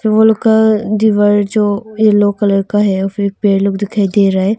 Wall का दीवार जो येलो कलर का है और फिर पेड़ लोग दिखाई दे रहा है।